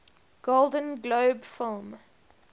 golden globe film